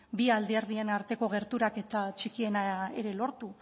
bi alderdien arteko gerturaketa txikiena ere lortu